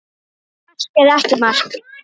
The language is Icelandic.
Mark eða ekki mark?